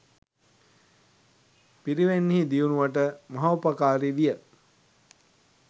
පිරිවෙන්හි දියුණුවට මහෝපකාරි විය.